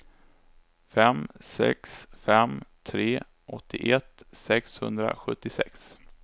fem sex fem tre åttioett sexhundrasjuttiosex